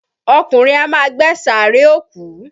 Ọkùnrin á ma gbẹ́ sààréè òkú.